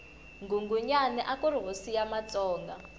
nghunghunyani akuri hosi ya matsonga